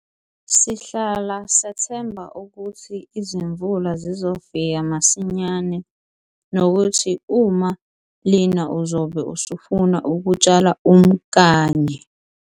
Sihlala sethemba ukuthi izimvula zizofika masinyane nokuthi uma lina uzobe usufuna ukutshala umkanye!